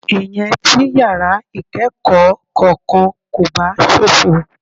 Ìyẹn tí yàrá ìkẹ́kọ̀ọ́ kankan kò bá ṣófo.